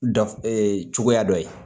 Daf ɛɛ cogoya dɔ ye